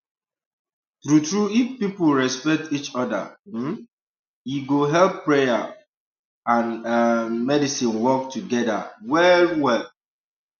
true true if people respect each oda um e go help prayer um and errm medicine work togeda well well um